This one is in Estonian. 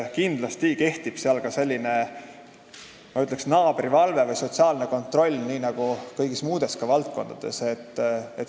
Kindlasti kehtib seal ka selline, ma ütleksin, naabrivalve või sotsiaalne kontroll, nagu ka kõigis muudes valdkondades.